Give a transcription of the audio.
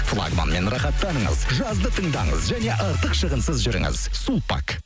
флагманмен рахаттаныңыз жазды тыңдаңыз және артық шығынсыз жүріңіз сулпак